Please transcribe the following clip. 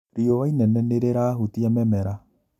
Riũa inene nĩrĩrahutia mĩmera